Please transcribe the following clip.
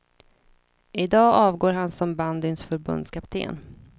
I dag avgår han som bandyns förbundskapten.